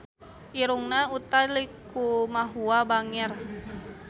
Irungna Utha Likumahua bangir